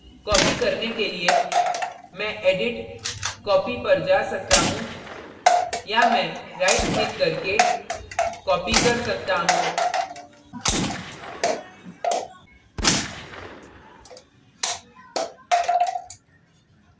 copy करने के लिए मैं edit copy पर जा सकता हूँ या मैं राईट clicked करके copy कर सकता हूँ